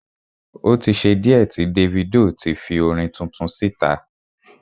O tí ṣe díẹ̀ tí Davido ti fi orin tuntun síta.